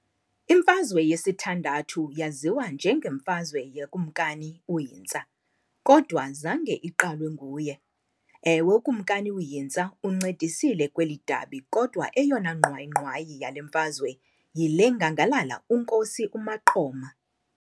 Imfazwe yesithandathu yaziwa njengemfazwe yaKumkani uHinsta, kodwa zange iqalwe nguye. Ewe uKumkani uHinsta uncedisile kweli dabi kodwa eyona ngqwayi-ngqwayi yale mfazwe yile ngangalala uNkosi uMaqoma.